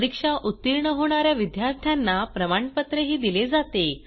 परीक्षा उतीर्ण होणा या विद्यार्थ्यांना प्रमाणपत्रही दिले जाते